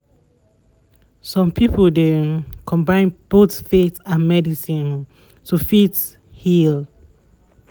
some people dey um combine both faith and medicine to fit heal